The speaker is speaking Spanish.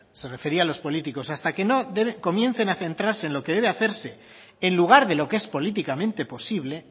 se refería a los políticos hasta que no comiencen a centrarse en lo que debe hacerse en lugar de lo que es políticamente posible